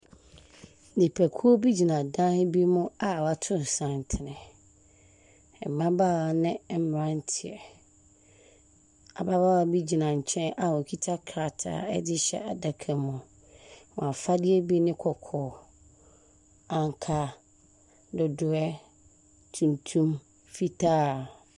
Nnipakuo bi gyina dan bi mu a wato santene. Mmabaawa ne mmeranteɛ. Ababaawa bi gyina nkyɛn a ɔkita krataa de rehyɛ adaka mu. Wɔn afadeɛ bi ne kɔkɔɔ, ankaa, dodoeɛ, tuntum, fitaa.